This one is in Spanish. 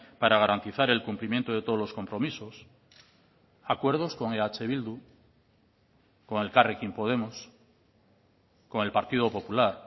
para garantizar el cumplimiento de todos los compromisos acuerdos con eh bildu con elkarrekin podemos con el partido popular